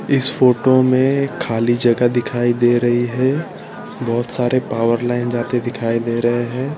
इस फोटो में खाली जगह दिखाई दे रही है बहोत सारे पावर लाइन जाते दिखाई दे रहे हैं।